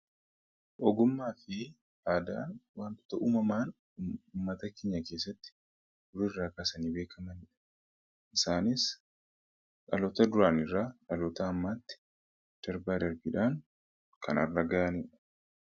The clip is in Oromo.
Ogummaa fi aadaan wantoota uumamaan uummata keenya keessatti duriirraa kaasanii beekamaniidha. Isaanis dhaloota duraanirra dhaaloota ammaatti darbaa darbiidhaan kan har'a ga'aniidha.